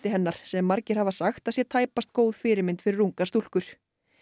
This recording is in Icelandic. hennar sem margir hafa sagt að sé tæpast góð fyrirmynd fyrir ungar stúlkur